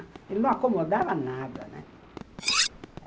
Ele não acomodava nada, né?